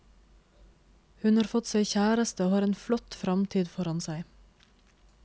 Hun har fått seg kjæreste og har en flott framtid foran seg.